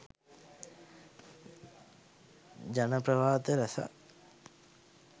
ජනප්‍රවාද රැසක්